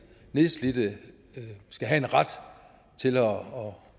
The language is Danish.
nedslidte skal have en ret til